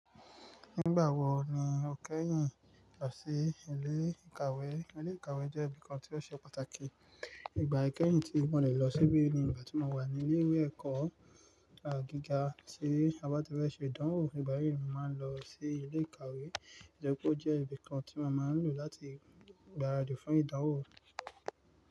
Nígbà wo ni o kẹ́yìn lọ sí ilé ìkàwé? Ilé ìkàwé jẹ́ ibìkan tí ó ṣe pàtàkì. Ìgbà ikẹ́yìn tí mo le lọ síbí ni ìgbà tí mo wà ní ilé ìwé ẹ̀kọ́ gíga tí a bá ti fẹ́ ṣe ìdánwò. Nígbà yíì, mo máa ń lọ sí ilé ìkàwé nítorí pé ó jẹ́ ibìkan tí a máa ń lò láti gbáradì fún ìdánwò.